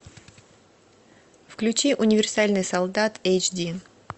включи универсальный солдат эйч ди